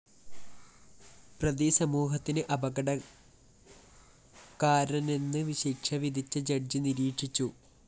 പ്രതി സമൂഹത്തിന് അപകടകാരനെന്ന് ശിക്ഷ വിധിച്ച ജഡ്ജ്‌ നിരീക്ഷിച്ചു